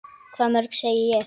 Hvað mörg, segi ég.